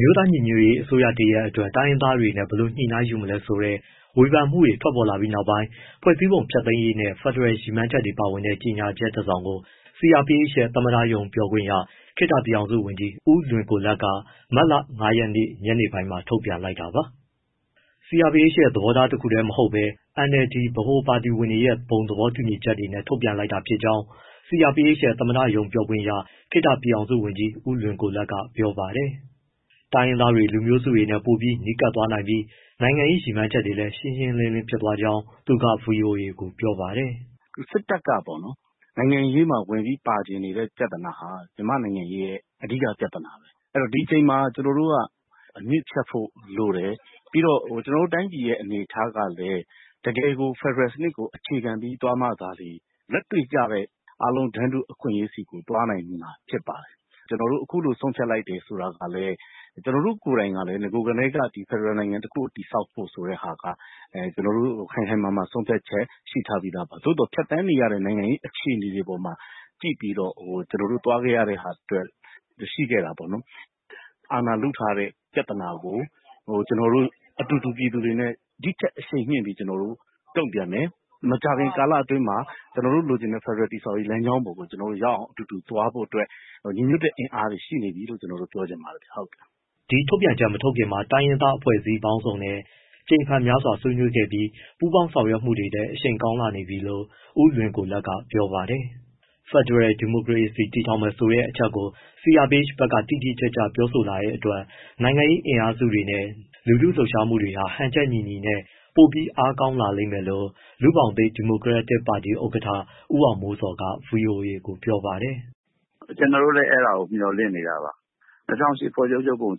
မျိုးသားညီညွတ်ရေးအစိုးရ တရပ်အတွက် တိုင်းရင်းသားတွေနဲ့ ဘယ်လိုညှိနှိုင်းယူမလဲဆိုတဲ့ ဝေဖန်မှုတွေထွက်ပေါ်လာပြီးနောက်ပိုင်း ဖွဲ့စည်းပုံဖျက်သိမ်းရေးနဲ့ ဖက်ဒရယ် ရည်မှန်းချက်တွေပါဝင်တဲ့ ကြေညာချက်တစောင်ကို CRPH ရဲ့ သမ္မတရုံးပြောခွင့်ရ ခေတ္တပြည်ထောင်စုဝန်ကြီး ဦးလွင်ကိုလတ် CRPH က မတ်လ ၅ ရက် ညနေပိုင်းမှာ ထုတ်ပြန်လိုက်တာပါ။ CRPH သဘောထားတခုတည်းမဟုတ်ဘဲ NLD ပါတီဗဟိုကော်မတီဝင်တွေရဲ့ ဘုံသဘောတူညီချက်နဲ့ ထုတ်ပြန်လိုက်တာဖြစ်ကြောင်း CRPH ရဲ့ သမ္မတရုံးပြောခွင့်ရ ခေတ္တပြည်ထောင်စုဝန်ကြီး ဦးလွင်ကိုလတ်က ပြောပါတယ်။ တိုင်းရင်းသားတွေ၊ လူမျိုးစုတွေနဲ့ ပိုပြီးနီးကပ်သွားနိုင်ပြီး နိုင်ငံရေးရည်မှန်းချက်လည်း ရှင်းရှင်းလင်းလင်းဖြစ်သွားကြောင်း သူက ဗွီအိုအေကို ပြောပါတယ်။ “ စစ်တပ်က နိုင်ငံရေးမှာ ဝင်ပြီးပါချင်နေတဲ့ ပြဿနာဟာ မြန်မာ့နိုင်ငံရေးရဲ့ အဓိက ပြဿနာပဲ။ ဒီအချိန်မှာ ကျနော်တို့က အမြစ်ဖြတ်ဖို့လိုတယ်။ ကျနော်တို့ တိုင်းပြည်ရဲ့ အနေအထားကလည်း တကယ်ကို ဖက်ဒရယ်စနစ်ကို အခြေခံပြီး သွားမှာသာလျှင် လက်တွေ့ကျတဲ့ တန်းတူအခွင့်အရေးဆီကို သွားနိုင်မယ်။ အခုလို ဆုံးဖြတ်လိုက်တာလည်း ကျနော်တို့ကိုယ်တိုင်လည်း အရင်ကတည်းက ဖက်ဒရယ်နိုင်ငံတခု တည်ဆောက်ဖို့ ခိုင်ခိုင်မာမာ ဆုံးဖြတ်ချက် ရှိထားပြီးသားပါ။ သို့သော် ဖြတ်သန်းနေရတဲ့ နိုင်ငံရေး အခြေအနေတွေပေါ်မှာ ကြည့်ပြီးတော့ ကျနော်တို့ သွားခဲ့ရတဲ့ဟာ ရှိခဲ့တာပေါ့နော်။ အာဏာလုထားတဲ့ ပြဿနာကို အတူတူ ပြည်သူတွေနဲ့ ဒီထက်အရှိန်မြှင့်ပြီး တုံ့ပြန်မယ်၊ မကြာခင်ကာလအတွင်းမှာ ကျနော်တို့လိုချင်တဲ့ ဖက်ဒရယ် တည်ဆောက်ရေး လမ်းကြောင်းကို ကျနော်တို့ရောက်အောင် သွားဖို့အတွက် ညီညွတ်တဲ့ အင်အားတွေ ရှိနေပြီလို့ ကျနော်တို့ ပြောချင်ပါတယ်။” ဒီထုတ်ပြန်ချက်မထုတ်ခင်မှာ တိုင်းရင်းသားအဖွဲ့အစည်းပေါင်းစုံနဲ့ ကြိမ်ဖန်များစွာ ဆွေးနွေးခဲ့ပြီး ပူးပေါင်းဆောင်ရွက်မှုတွေလည်း အရှိန်ကောင်းနေပြီလို့ ဦးလွင်ကိုလတ်က ပြောပါတယ်။ ဖယ်ဒရယ် ဒီမိုကရေစီတည်ထောင်မယ်ဆိုတဲ့ အချက်ကို CRPH ဘက်က တိတိကျကျ ပြောဆိုလာတဲ့အတွက် နိုင်ငံရေးအင်အားစုတွေနဲ့ လူထုလှုပ်ရှားမှုတွေဟာ ဟန်ချက်ညီညီနဲ့ ပိုပြီး အားကောင်း လာလိမ့်မယ်လို့ လူ့ဘောင်သစ် ဒီမိုကရက်တစ်ပါတီ ဥက္ကဋ္ဌ ဦးအောင်မိုးဇော်က ဗွီအိုအေကို ပြောပါတယ်။ “ ကျနော်တို့လည်း အဲဒါကို မျှော်လင့်နေတာပါ။ ၂၀၀၈ အခြေခံဥပဒေ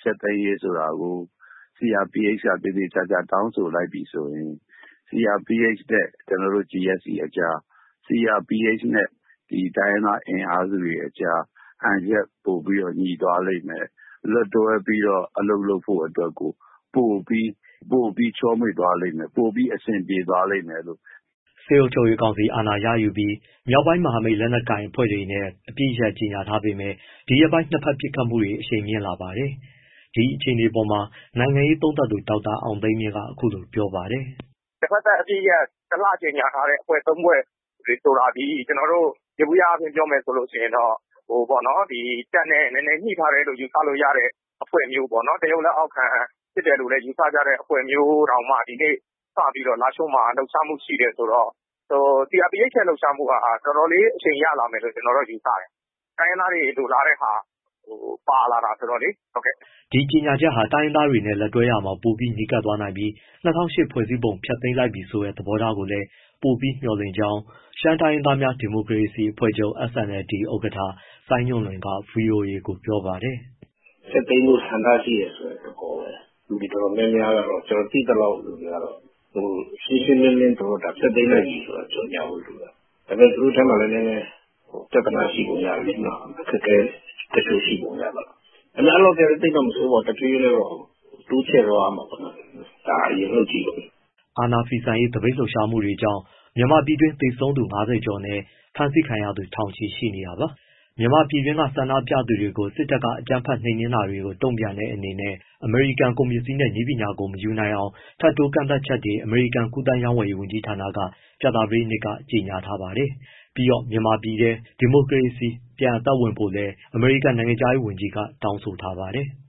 ဖျက်သိမ်းရေးဆိုတာကို CRPH က သေသေချာချာ တောင်းဆိုလိုက်ပြီဆိုရင်CRPH နဲ့ ကျနော်တို့ GSC ကြား၊ CRPH နဲ့ တိုင်းရင်းသား အင်အားစုတွေအကြား ဟန်ချက်ပိုပြီး ညီသွားလိမ့်မယ်၊ လက်တွဲပြီး အလုပ်လုပ်ဖို့အတွက် ပိုပြီးချောမွေ့သွားလိမ့်မယ်၊ ပိုပြီးအဆင်ပြေသွားလိမ့်မယ် " စစ်အုပ်ချုပ်ရေးကောင်စီ အာဏာရယူပြီး မြောက်ပိုင်းမဟာမိတ် လက်နက်ကိုင်အဖွဲ့တွေနဲ့ အပစ်ရပ်ကြေညာထားပေမဲ့ ဒီရက်ပိုင်းမှာ နှစ်ဘက် ပစ်ခတ်မှုတွေ အရှိန်မြှင့်လာပါတယ်။ ဒီအခြေအနေအပေါ်မှာ နိုင်ငံရေးသုံးသပ်သူ ဒေါက်တာအောင်သိန်းမြင့်က အခုလိုပြောပါတယ်။ “ တဖက်သတ်အပစ်ရပ် ၁လ ကြေညာထားတဲ့ အဖွဲ့ ၃ ဖွဲ့ဆိုတာသည် ယေဘုယပြောမယ်ဆိုရင်တော့ တပ်နဲ့နည်းနည်း ညှိထားတယ်လို့ ယူဆလို့ရတဲ့ အဖွဲ့မျိုးပေါ့နော်။ တရုတ်လက်အောက်ခံအဖွဲ့မျိုး ယူဆလို့ ရတဲ့အဖွဲ့မျိုးတောင်မှ ဒီနေ့လားရှိုးမှာစပြီး လှုပ်ရှားမှု ရှိတယ်ဆိုတော့ CRPH ရဲ့ လှုပ်ရှားမှုက တော်တော်လေး အရှိန်ရလာမယ်လို့ ကျနော်တော့ ယူဆတယ် တိုင်းရင်းသားတွေ လိုလားတဲ့ဟာကို ပါလာတာဆိုတော့လေ။” ဒီကြေညာချက်ဟာ တိုင်းရင်းသားတွေနဲ့ လက်တွဲတာမှာ ပိုပြီးနီးကပ်သွားနိုင်ပြီး ၂၀၀၈ ဖွဲ့စည်းပုံ ဖျက်သိမ်းလိုက်ပြီဆိုတဲ့ သဘောထားကိုလည်း ပိုပြီးမျှော်လင့်ကြောင်း ရှမ်းတိုင်းရင်းသားများ ဒီမိုကရေစီအဖွဲ့ချုပ် SNLD ဥက္ကဋ္ဌ စိုင်းညွန့်လွင်က ဗွီအိုအေကို ပြောပါတယ်။ “ ဖျက်သိမ်းဖို့ ဆန္ဒရှိတယ်ဆိုတဲ့ သဘောပဲ၊ လူတွေတော်တော်များများ ကျနော်သိသလောက်၊ ရှင်းရှင်းလင်းလင်း ဖျက်သိမ်းလိုက်ပြီဆိုတာ ကြေညာဖို့ လိုတယ်။ ဒါပေမဲ့ သူတို့အထဲမှာလည်း နည်းနည်းပြဿနာရှိပုံ ရတယ်လေနော့၊ အခက်အခဲ တချို့ရှိပုံရတယ်။ ဒါပေမဲ့ အဲလောက်လည်း သိပ်တော့မဆိုးပါဘူး တဖြည်းဖြည်းနဲ့တော့ တိုးချဲ့သွားရမှာပေါ့နော်။ ဒါအရင်လုပ်ကြည့်ပေါ့။” အာဏာဖီဆန်ရေး သပိတ်လှုပ်ရှာမှုတွေကြောင့် မြန်မာပြည်တွင်းမှာ သေဆုံးသူ ၅၀ ကျော်နဲ့ ဖမ်းဆီးခံရသူ ထောင်ချီရှိနေတာပါ။ မြန်မာပြည်တွင်းက ဆန္ဒပြသူတွေကို စစ်တပ်ရဲ့ အကြမ်းဖက်နှိမ်နင်းတာတွေကို တုံ့ပြန်တဲ့အနေနဲ့ အမေရိကန် ကုန်ပစ္စည်းနဲ့ နည်းပညာကို မရယူနိုင်အောင် ထပ်တိုးကန့်သတ်ချက်တွေကို အမေရိကန် ကူးသန်းရောင်းဝယ်ရေး ဝန်ကြီးဌာနက ကြာသပတေးနေ့က ကြေညာထားပါတယ်။ ပြီးတော့ မြန်မာပြည်ထဲ ဒီမိုကရေစီ ပြန်အသက်ဝင်ဖို့လည်း အမေရိကန် နိုင်ငံခြားရေးဝန်ကြီးက တောင်းဆိုထားပါတယ်။